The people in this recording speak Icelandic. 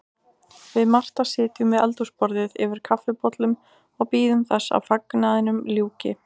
Við Marta sitjum við eldhúsborðið yfir kaffibollum og bíðum þess að fagnaðinum ljúki.